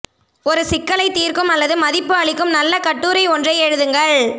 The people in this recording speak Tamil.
ஒரு சிக்கலைத் தீர்க்கும் அல்லது மதிப்பு அளிக்கும் நல்ல கட்டுரை ஒன்றை எழுதுங்கள்